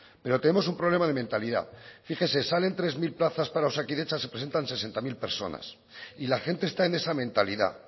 pero tenemos un problema de mentalidad fíjese salen tres mil plazas para osakidetza se presentan sesenta mil personas y la gente está en esa mentalidad